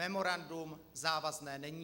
Memorandum závazné není.